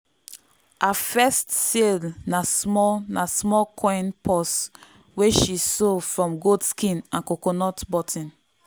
her first sale na small na small coin purse wey she sew from goat skin and coconut button.